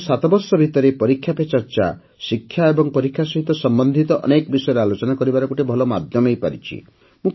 ଗତ ସାତବର୍ଷ ଭିତରେ ପରୀକ୍ଷା ପେ ଚର୍ଚ୍ଚା ଶିକ୍ଷା ଏବଂ ପରୀକ୍ଷା ସହିତ ସମ୍ବନ୍ଧିତ ଅନେକ ବିଷୟରେ ଆଲୋଚନା କରିବାର ଗୋଟିଏ ଭଲ ମାଧ୍ୟମ ହୋଇପାରିଛି